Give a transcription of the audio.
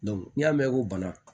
n'i y'a mɛn ko bana